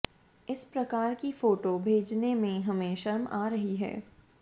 इस प्रकार कि फोटो भेजने में हमें शर्म आ रही है